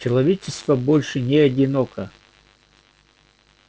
человечество больше не одиноко